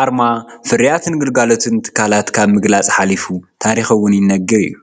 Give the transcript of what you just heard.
ኣርማ ፍርያትን ግልጋሎትን ትካላት ካብ ምግላፅ ሓሊፉ ታሪክ እውን ይነግር እዩ፡፡